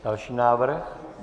Další návrh.